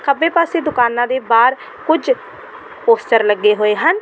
ਖੱਬੇ ਪਾਸੇ ਦੁਕਾਨਾਂ ਦੇ ਬਾਹਰ ਕੁੱਝ ਪੋਸਟਰ ਲੱਗੇ ਹੋਏ ਹਨ।